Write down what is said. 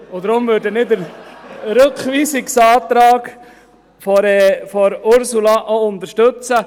Deshalb werden wir den Rückweisungsantrag von Ursula Zybach auch unterstützen.